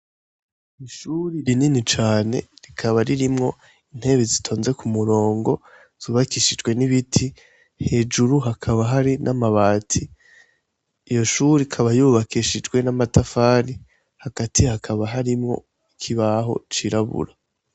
Ishure rinini cane rikaba ririmwo intebe zitonze ku murongo, zubakishijwe n'ibiti, hejuru hakaba hari n'amabati. Iyo shure ikaba yubakishijwe n'amatafari, hagati hakaba harimwo ikibaho cirabura.